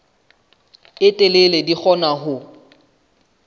e telele di kgona ho